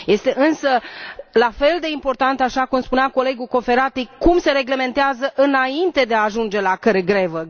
Este, însă, la fel de important, așa cum spunea colegul Cofferati, cum se reglementează înainte de a ajunge la grevă.